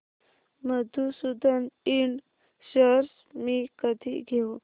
Madhusudan ind shares मी कधी घेऊ